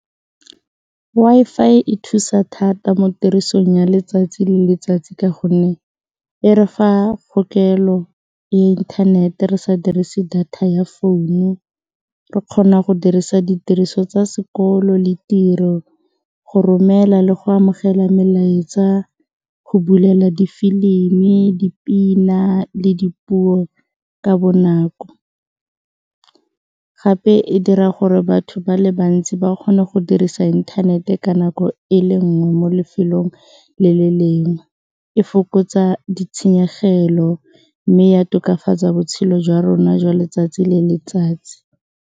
Wi-Fi e thusa thata mo tirisong ya letsatsi le letsatsi ka gonne e re fa kgokelo ya inthanete re sa dirise data ya founu, re kgona go dirisa ditiriso tsa sekolo le tiro, go romela le go amogela melaetsa, go bulela difilimi, dipina le dipuo ka bonako. Gape e dira gore batho ba le bantsi ba kgone go dirisa inthanete ka nako e le nngwe mo lefelong le le lengwe, e fokotsa ditshenyegelo mme ya tokafatsa botshelo jwa rona jwa letsatsi le letsatsi.